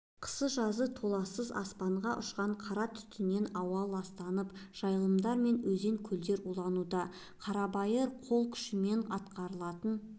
қысы-жазы толассыз аспанға ұшқан қара түтіннен ауа ластанып жайылымдар мен өзең-көлдер улануда қарабайыр қол күшімен атқарылатын